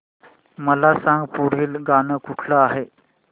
मला सांग पुढील गाणं कुठलं आहे